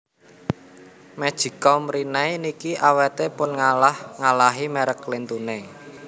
Magic com Rinnai niki awete pun ngalah ngalahi merk lintune